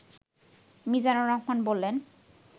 মিজানুর রহমান বলেন